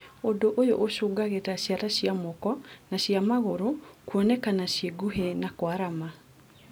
ũndũ ũyũ ũcũngagĩrĩria ciara cia moko na cia magũrũ kuonekana ciĩ nguhĩ na ikarama